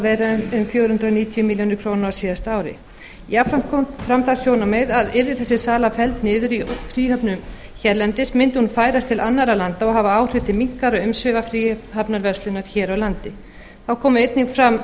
um fjögur hundruð níutíu milljónir króna á síðasta ári jafnframt kom fram það sjónarmið að yrði þessi sala felld niður í fríhöfnum hérlendis mundi hún færast til annarra landa og hafa áhrif til minnkaðra umsvifa fríhafnarverslana hér á landi þá kom einnig